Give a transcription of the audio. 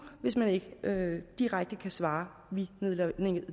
hvis man ikke direkte kan svare vi